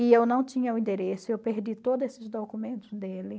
E eu não tinha o endereço, eu perdi todos esses documentos dele.